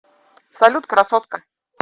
салют красотка